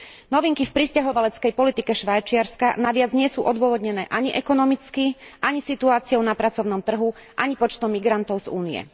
Novinky v prisťahovaleckej politike Švajčiarska navyše nie sú odôvodnené ani ekonomicky, ani situáciou na pracovnom trhu, ani počtom migrantov z Únie.